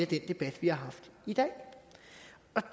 den debat vi har haft i dag